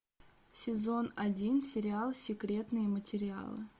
сезон один сериал секретные материалы